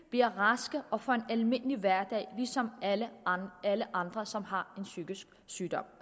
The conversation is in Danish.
bliver raske og får en almindelig hverdag ligesom alle andre alle andre som har en psykisk sygdom